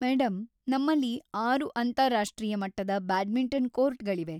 Madam, ನಮ್ಮಲ್ಲಿ ಆರು ಅಂತಾರಾಷ್ಟ್ರೀಯ ಮಟ್ಟದ ಬ್ಯಾಡ್ಮಿಂಟನ್‌ ಕೋರ್ಟ್‌ಗಳಿವೆ.